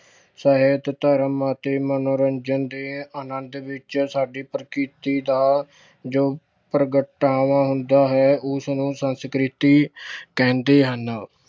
ਸਾਹਿਤ, ਧਰਮ ਅਤੇ ਮਨੋਰੰਜਨ ਦੇ ਆਨੰਦ ਵਿੱਚ ਸਾਡੀ ਪ੍ਰਕਿਰਤੀ ਦਾ ਜੋ ਪ੍ਰਗਟਾਵਾ ਹੁੰਦਾ ਹੈ, ਉਸ ਨੂੰ ਸੰਸਕ੍ਰਿਤੀ ਕਹਿੰਦੇ ਹਨ।